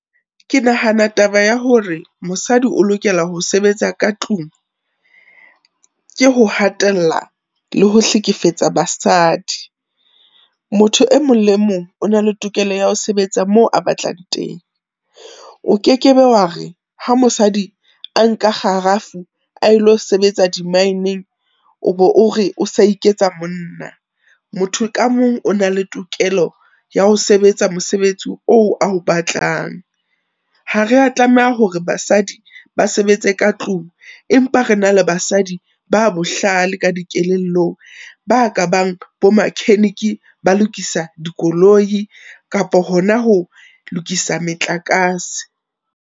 Ke nahana taba ya hore mosadi o lokela ho sebetsa ka tlung, ke ho hatella le ho hlekefetsa basadi. Motho e mong le mong o na le tokelo ya ho sebetsa moo a batlang teng. O ke ke be wa re ha mosadi a nka kgarafu a lo sebetsa di maineng o be o re, o sa iketsa monna. Motho ka mong o na le tokelo ya ho sebetsa mosebetsi oo a o batlang. Ha re a tlameha hore basadi ba sebetse ka tlung, empa re na le basadi ba bohlale ka dikelellong, ba ka bang bo makheniki, ba lokisa dikoloi kapo hona ho lokisa metlakase.